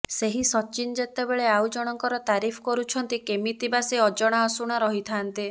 ସେହି ସଚିନ ଯେତେବେଳେ ଆଉ ଜଣଙ୍କର ତାରିଫ କରୁଛନ୍ତି କେମିତି ବା ସେ ଅଜଣା ଅଶୁଣା ରହିଥାନ୍ତେ